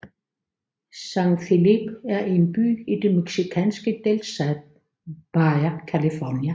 San Felipe er en by i den mexikanske delstat Baja California